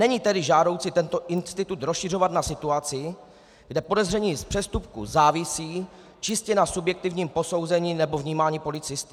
Není tedy žádoucí tento institut rozšiřovat na situaci, kde podezření z přestupku závisí čistě na subjektivním posouzení nebo vnímání policisty.